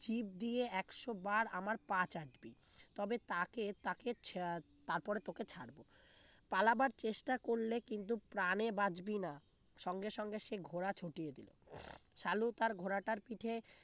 জীব দিয়ে একশো বার আমার পা চাটবি তবে তাকে তাকে ছাড় তারপরে তোকে ছাড়বো পালাবার চেষ্টা করলে কিন্তু প্রাণে বাঁচবি না সঙ্গে সঙ্গে সেই ঘোড়া ছুটিয়ে দিল সালু তার ঘোড়া তার পিঠে